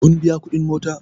Kun biya kuɗin mota?